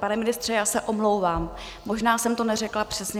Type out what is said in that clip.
Pane ministře, já se omlouvám, možná jsem to neřekla přesně.